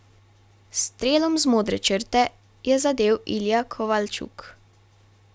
S strelom z modre črte je zadel Ilija Kovalčuk.